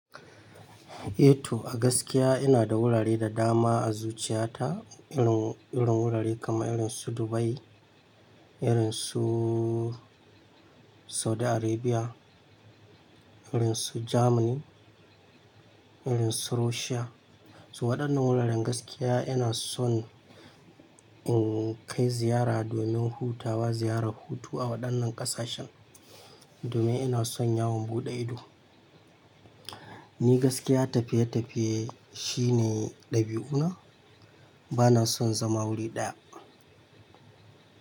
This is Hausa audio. Eh to, a gaskiya ina da wurare da dama a zuciyata, irin, irin wurare kamar irin su Dubai, irin su Saudi Arabia, irin su Germany, irin su Russia. To waɗannan wuraren gaskiya ina son in kai ziyara domin hutawa, ziyarar hutu a waɗannan ƙasashen domin ina son yawon buɗe ido. Ni gaskiya tafiye-tafiye shine ɗabi'una, bana son zama wuri ɗaya.